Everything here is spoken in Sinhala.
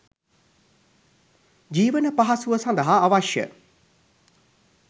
ජීවන පහසුව සඳහා අවශ්‍ය